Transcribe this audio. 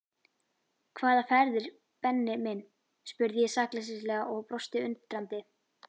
Hvaða ferðir Benni minn? spurði ég sakleysislega og brosti undrandi.